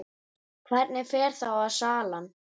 Hvernig fer þá salan?